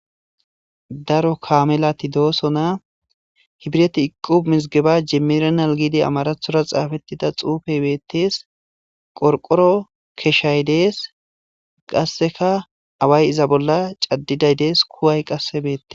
daro kamelati doosona hibreti iqubi mizgeba jemmiranal giidi amarathora xaafettida xuufey beettees qorqoro keshay dees qasseka away iza bolla caddiday dees kuway qasse beettes